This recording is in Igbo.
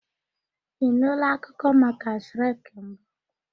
Ị nụụla akụkọ maka Shrek mbụ?